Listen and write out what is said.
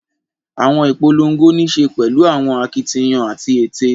Awọn ipolongo nii ṣe pẹlu awọn akitiyan ati ete